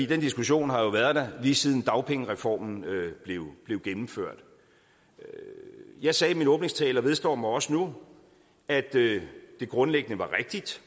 den diskussion har været der lige siden dagpengereformen blev gennemført jeg sagde i min åbningstale og vedstår mig også nu at det grundlæggende var rigtigt